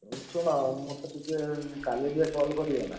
ଉ ଶୁଣ ମତେ ଟିକେ କାଲି ଟିକେ call କରିବ ନା?